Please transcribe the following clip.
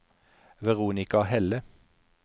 Veronica Helle